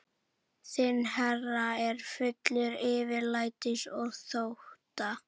Þinn herra er fullur yfirlætis og þótta.